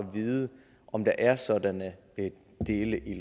vide om der er sådanne dele